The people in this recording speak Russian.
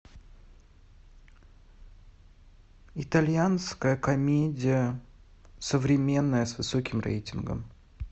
итальянская комедия современная с высоким рейтингом